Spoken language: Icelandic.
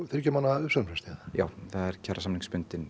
þriggja mánaða uppsagnarfrest já það er